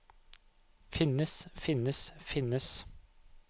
finnes finnes finnes